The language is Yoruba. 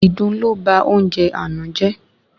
Ìdun lo ba oúnjẹ àná jẹ